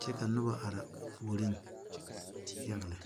kye ka nuba arẽ ɔ pouring yaga le.